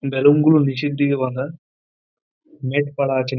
balloon গুলো নিচের দিকে বাঁধা নেট পারা আছে--